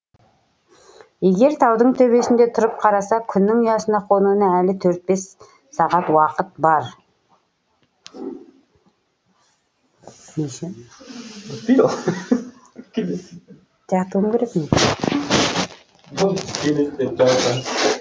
егер таудың төбесінде тұрып қараса күннің аясына қонуына әлі төрт бес сағат уақыт бар